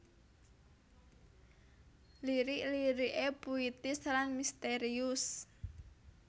Lirik lirik é puitis lan misterius